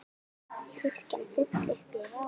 Kirkjan full upp í rjáfur.